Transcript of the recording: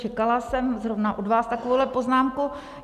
Čekala jsem zrovna od vás takovouhle poznámku.